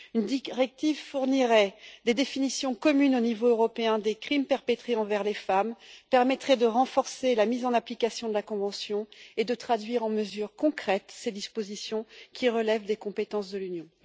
Une directive fournirait des définitions communes au niveau européen des crimes perpétrés envers les femmes et permettrait de renforcer la mise en application de la convention et de traduire en mesures concrètes ces dispositions qui relèvent des compétences de l'Union.